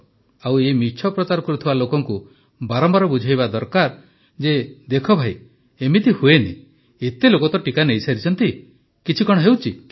ଆଉ ଏହି ମିଛ ପ୍ରଚାର କରୁଥିବା ଲୋକଙ୍କୁ ବାରମ୍ବାର ବୁଝାଇବା ଦରକାର ଯେ ଦେଖ ଭାଇ ଏମିତି ହୁଏ ନାହିଁ ଏତେ ଲୋକ ତ ଟିକା ନେଇସାରିଛନ୍ତି କିଛି ହୁଏ ନାହିଁ